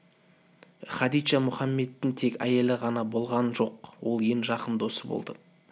хадиджа мұхаммедтің тек әйелі ғана болған жоқ ол ең жақын досы болды